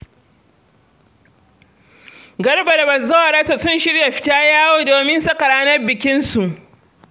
Garba da bazawararsa sun shirya fita yawo, domin saka ranar bikinsu.